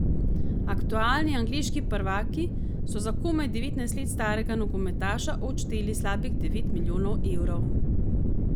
Aktualni angleški prvaki so za komaj devetnajst let starega nogometaša odšteli slabih devet milijonov evrov.